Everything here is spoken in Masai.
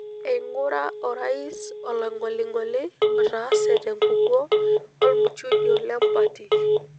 Eingura orais olong'oling'oli otaase tenkukuo olmuchujo lempati.